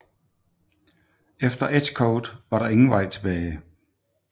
Efter Edgecote var der ingen vej tilbage